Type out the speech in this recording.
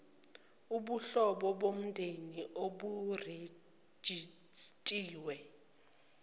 ubuhlobo bomndeni oburejistiwe